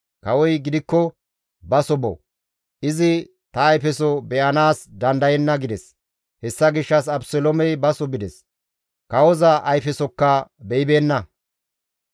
Kawoy gidikko, «Baso bo; izi ta ayfeso be7anaas dandayenna» gides; hessa gishshas Abeseloomey baso bides; kawoza ayfesokka be7ibeenna.